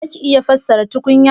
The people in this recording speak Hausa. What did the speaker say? Zaki iya sarrafa tukunya?